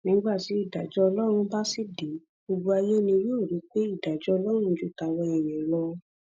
nígbà tí ìdájọ ọlọrun bá sì dé gbogbo ayé ni yóò rí i pé ìdájọ ọlọrun ju tàwa èèyàn lọ